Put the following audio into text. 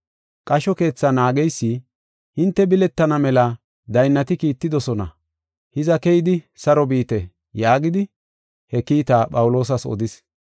Qasho keetha naageysi, “Hinte biletana mela daynnati kiittidosona. Hiza, keyidi saro biite” yaagidi he kiita Phawuloosas odis.